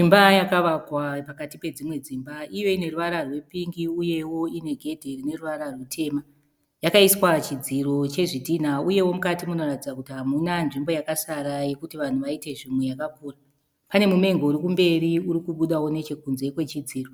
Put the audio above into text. Imba yakavakwa pakati pedzimwe dzimba. Iyo ine ruvara rwepingi uyewo ine gedhe rine ruvara rutema. Yakaiswa chidziro chezvidhinha uyewo mukati munoratidza kuti hamuna nzvimbo yakasara yokuti vanhu vaite zvimwe yakakura. Pane mumengo uri kumberi uri kubudawo nechokunze kwechidziro